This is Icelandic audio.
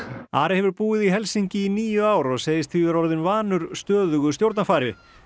Ari hefur búið í Helsinki í níu ár og segist því vera orðinn vanur stöðugu stjórnarfari